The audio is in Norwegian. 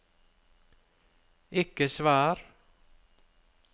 ikke svar